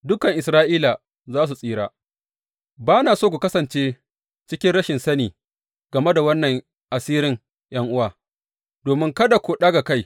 Dukan Isra’ila za su tsira Ba na so ku kasance cikin rashin sani game da wannan asirin ’yan’uwa, domin kada ku ɗaga kai.